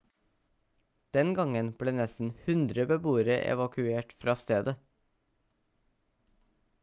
den gangen ble nesten 100 beboere evakuert fra stedet